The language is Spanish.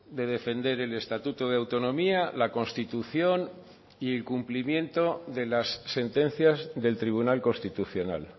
de defender el estatuto de autonomía la constitución y el cumplimiento de las sentencias del tribunal constitucional